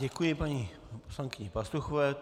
Děkuji paní poslankyni Pastuchové.